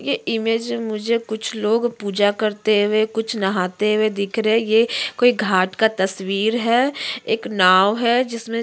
ये इमेज मे मुझे कुछ लोग पूजा करते हुऐ कुछ नहाते हुए दिख रहे हैं ये कोई घाट का तस्वीर है एक नाव है जिसमे --